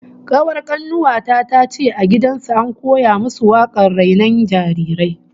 Kawar kanuwa ta tace a gidan su an koya musu wakar rainon jarirai